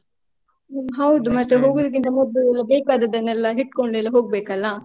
ಹ್ಮ್ ಹೌದು. ಮತ್ತೆ ಹೋಗುದಿಕ್ಕಿಂತ ಮೊದ್ಲು ಎಲ್ಲ ಬೇಕಾದದನೆಲ್ಲ ಹಿಡ್ಕೊಂಡೆಲ್ಲಾ ಹೋಗ್ಬೇಕಲ್ಲಾ.